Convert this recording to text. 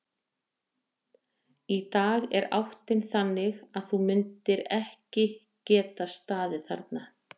Í dag er áttin þannig að þú myndir ekki geta staðið þarna.